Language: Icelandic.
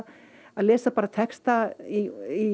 lesa bara texta í